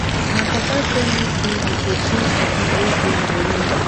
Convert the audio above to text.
my papa tell me say he go change the fan wey dey my room